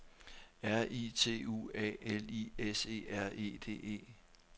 R I T U A L I S E R E D E